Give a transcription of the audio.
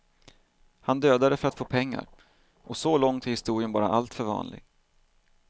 Han dödade för att få pengar, och så långt är historien bara alltför vanlig.